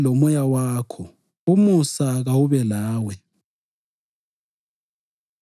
INkosi kayibe lomoya wakho. Umusa kawube lawe.